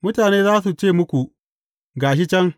Mutane za su ce muku, Ga shi can!’